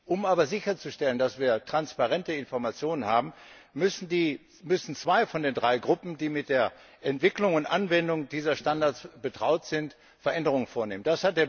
Um aber sicherzustellen, dass wir transparente Informationen haben, müssen zwei von den drei Gruppen, die mit der Entwicklung und Anwendung dieser Standards betraut sind, Veränderungen vornehmen.